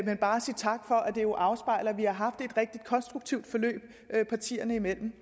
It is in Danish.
men bare sige tak for at det jo afspejler at vi har haft et rigtig konstruktivt forløb partierne imellem